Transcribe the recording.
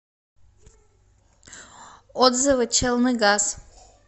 отзывы челныгаз